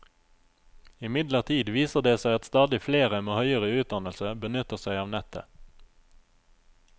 Imidlertid viser det seg at stadig flere med høyere utdannelse benytter seg av nettet.